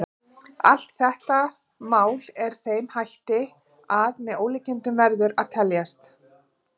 Allt þetta mál er með þeim hætti að með ólíkindum verður að teljast.